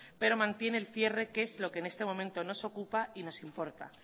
pero mantiene el cierre que es lo que en este momento nos ocupa y nos importa